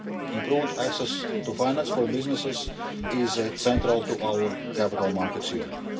Improved access to finance for businesses is central to our Capital Markets Union.